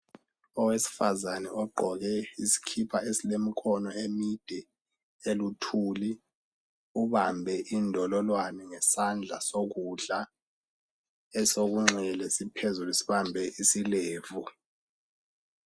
Owesifazane ogqoke isikipa esilomkhono emide eluthuli ubambe indololwane ngesandla esokudla , esekunxele siphezulu sibambe isilevu.